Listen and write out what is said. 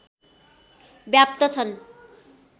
व्याप्त छन्